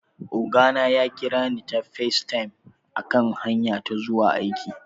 Oga na ya kira ni ta FaceTime a kan hanya ta ta zuwa aiki